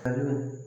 Kaw